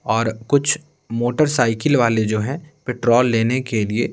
और कुछ मोटरसाइकिल वाले जो हैं पेट्रोल लेने के लिए--